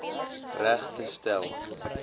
reg te stel